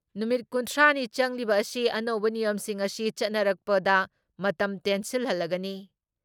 ꯅꯨꯃꯤꯠ ꯀꯨꯟꯊ꯭ꯔꯥ ꯅꯤ ꯆꯪꯂꯤꯕ ꯑꯁꯤ ꯑꯅꯧꯕ ꯅꯤꯌꯝꯁꯤꯡ ꯑꯁꯤ ꯆꯠꯅꯔꯛꯄꯗ ꯃꯇꯝ ꯇꯦꯟꯁꯤꯜꯍꯜꯂꯒꯅꯤ ꯫